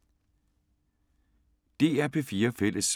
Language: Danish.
DR P4 Fælles